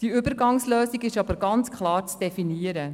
Diese Übergangslösung ist jedoch ganz klar zu definieren.